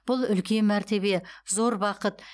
бұл үлкен мәртебе зор бақыт